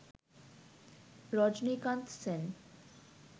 Rajinikanth Sen